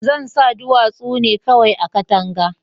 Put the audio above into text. zansa duwatsu nevkawai a katanka